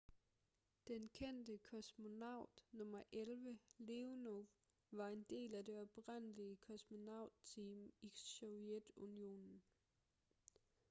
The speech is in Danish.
den kendte kosmonaut nr 11 leonov var en del af det oprindelige kosmonaut-team i sovjetunionen